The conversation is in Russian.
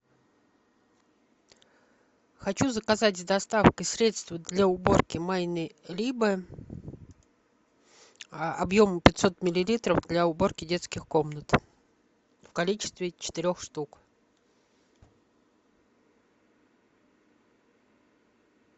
хочу заказать с доставкой средство для уборки майне либе объемом пятьсот миллилитров для уборки детских комнат в количестве четырех штук